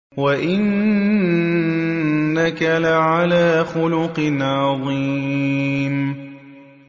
وَإِنَّكَ لَعَلَىٰ خُلُقٍ عَظِيمٍ